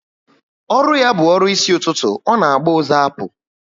Ọrụ ya bu ọrụ isi ụtụtụ, ọ na agba ụzọ apu